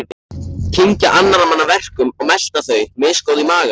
Kyngja annarra manna verkum og melta þau, misgóð í maga.